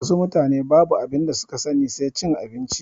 Wasu mutane babu abinda suka sani sai cin abinci